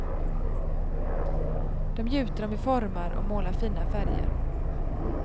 Dem gjuter de i formar och målar i fina färger.